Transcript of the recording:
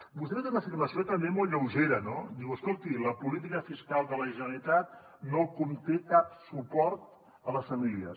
vostè ha fet una afirmació també molt lleugera no diu escolti la política fiscal de la generalitat no conté cap suport a les famílies